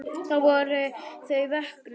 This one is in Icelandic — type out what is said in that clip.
Þá voru þau vöknuð.